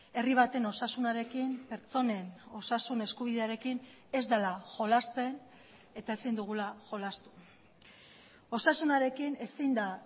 herri baten osasunarekin pertsonen osasun eskubidearekin ez dela jolasten eta ezin dugula jolastu osasunarekin ezin da